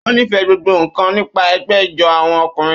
Ó nífẹ̀ẹ́ gbogbo nkan nípa ẹgbẹ́ ijó àwọn ọkùnrin.